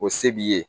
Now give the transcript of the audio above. O se b'i ye